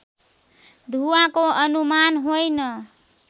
धुवाँको अनुमान होइन